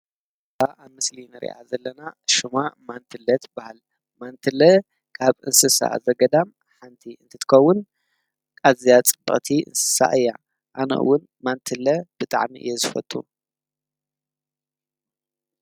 ኣብ ምስልን ርያ ዘለና ሹማ ማንትለት በሃል ማንትለ ካብ እንስሳ ዘገዳም ሓንቲ እንትትከውን ቃዚያ ጽበቕቲ እንስሳ እያ ኣነኡውን ማንትለ ብጥዕኒ እየ ዘፈቱ።